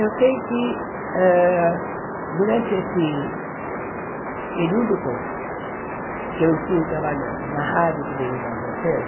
Eu sei que ah durante esse período todo que eu estive trabalhando na rádio e televisão francesa,